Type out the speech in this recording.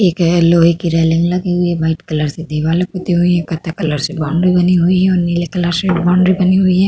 एक अ लोहे की रेलिंग लगी हुई है। वाइट कलर से दिवालें पुती हुई हैं। कत्थई कलर से बाउंड्री बनी हुई है और नीले कलर से बाउंड्री बनी हुई है।